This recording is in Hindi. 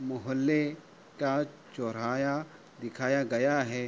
मुहोल्ले का चोर्हाया दिखाया गया है।